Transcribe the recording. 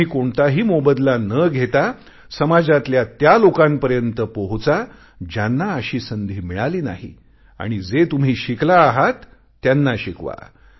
तुम्ही कोणताही मोबदला न घेता समाजातल्या त्या लोकांपर्यंत पोहोचा ज्यांना अशी संधी मिळाली नाही आणि जे तुम्ही शिकला आहात त्यांना शिकवा